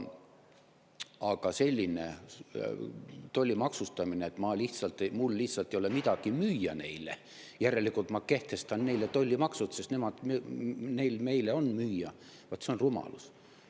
Aga selline tollimaksustamine, et mul lihtsalt ei ole neile midagi müüa, järelikult ma kehtestan neile tollimaksud, sest neil meile on müüa – vaat see on rumalus!